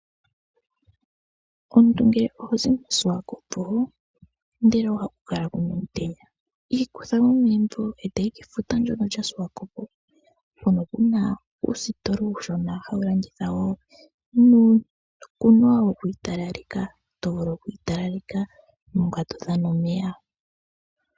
Omuntu ngele ohozi mo Swakopmund ndele ohaku kala kuna omutenya, zamo megumbo etoyi kefuta ndyoka lya Swakopmund hono kuna uusitola uushona hawu landitha wo uukwanwa wokwii talaleka tovulu okwii talaleka uuna todhana omeya.